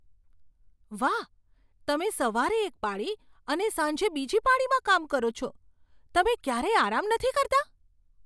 વાહ! તમે સવારે એક પાળી અને સાંજે બીજી પાળીમાં કામ કરો છો! તમે ક્યારેય આરામ નથી કરતા?